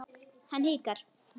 Hann hikar.